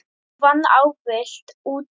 Hún vann ávallt úti.